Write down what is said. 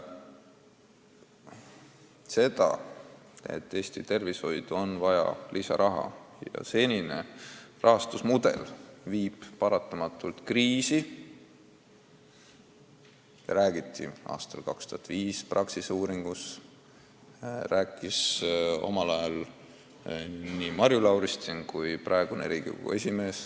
Seda, et Eesti tervishoidu on vaja lisaraha ja et senine rahastusmudel viib paratamatult kriisi, räägiti aastal 2005 Praxise uuringus, seda rääkis omal ajal Marju Lauristin ja rääkis ka praegune Riigikogu esimees.